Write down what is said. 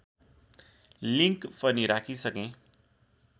link पनि राखिसकेँ